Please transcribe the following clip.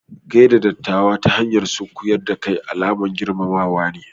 Gaishe da ɗattawa ta hanyar sunkuƴar da kai alaman girmamawa ne.